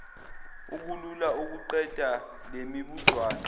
kulula ukuqedela lemibuzwana